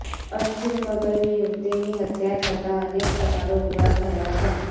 અસ્થિર મગજની યુવતીની હત્યા થતા અનેક સવાલો ઉભા થયા છે